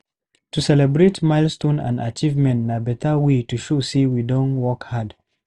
To celebrate milestones and achievements na beta way to show sey we don work hard.